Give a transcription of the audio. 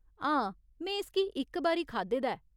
हां, में इसगी इक बारी खाद्धे दा ऐ।